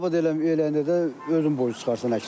Dabəd eləyəndə də özün borclu çıxırsan əksinə.